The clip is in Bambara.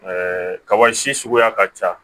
kaba si suguya ka ca